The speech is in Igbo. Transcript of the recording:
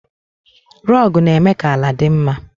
Rogu na-eme ka ala dị mma.